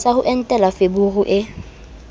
sa ho entela feberu e